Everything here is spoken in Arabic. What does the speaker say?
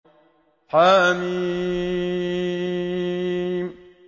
حم